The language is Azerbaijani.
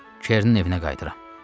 Çernin evinə qayıdıram.